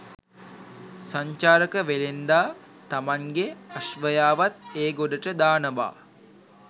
සංචාරක වෙළෙන්දා තමන්ගෙ අශ්වයාවත් ඒ ගොඩට දානවා.